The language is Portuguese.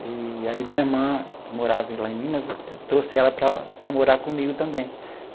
E aí minha irmã, que morava lá em Minas, eu trouxe ela para para morar comigo também.